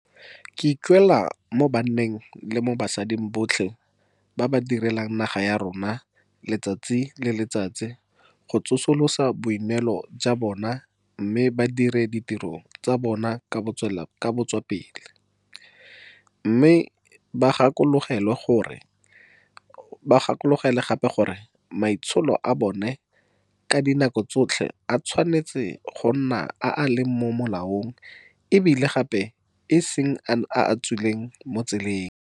Ke ikuela mo banneng le mo basading botlhe ba ba direlang naga ya rona letsatsi le letsatsi go tsosolosa boineelo jwa bona mme ba dire ditiro tsa bona ka botswapele, mme ba gakologelwe gape le gore maitsholo a bona ka dinako tsotlhe a tshwanetse go nna a a leng mo molaong e bile gape e se nne a a tswileng mo tseleng.